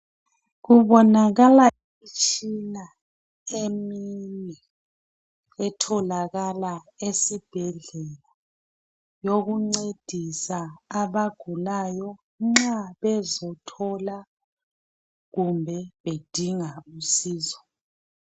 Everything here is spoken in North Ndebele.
Kubonakala imtshina emine etholakala esibhedlela yokuncedisa abagulayo nxa bezothola kumbe bedinga usizo.